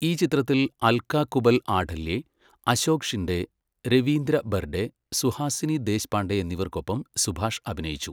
ഈ ചിത്രത്തിൽ അൽക കുബൽ ആഠല്യേ, അശോക് ഷിൻഡെ, രവീന്ദ്ര ബെർഡെ, സുഹാസിനി ദേശ്പാണ്ഡെ എന്നിവർക്കൊപ്പം സുഭാഷ് അഭിനയിച്ചു.